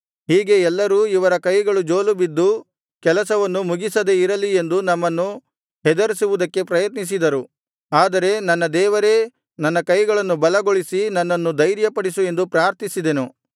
ಹೀಗೆ ಎಲ್ಲರೂ ಇವರ ಕೈಗಳು ಜೋಲು ಬಿದ್ದು ಕೆಲಸವನ್ನು ಮುಗಿಸದೆ ಇರಲಿ ಎಂದು ನಮ್ಮನ್ನು ಹೆದರಿಸುವುದಕ್ಕೆ ಪ್ರಯತ್ನಿಸಿದರು ಆದರೆ ನನ್ನ ದೇವರೇ ನನ್ನ ಕೈಗಳನ್ನು ಬಲಗೊಳಿಸಿ ನನ್ನನ್ನು ಧೈರ್ಯಪಡಿಸು ಎಂದು ಪ್ರಾರ್ಥಿಸಿದೆನು